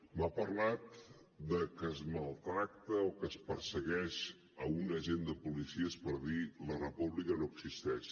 m’ha parlat de que es maltracta o que es persegueix un agent de policia per dir la república no existeix